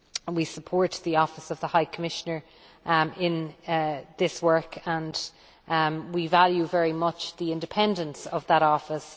We support the office of the High Commissioner in this work and we value very much the independence of that office.